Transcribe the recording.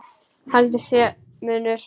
Haldið að sé munur!